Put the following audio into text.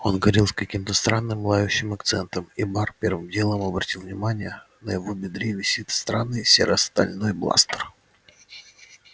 он говорил с каким-то странным лающим акцентом и бар первым делом обратил внимание на его бедре висит странный серо-стальной бластер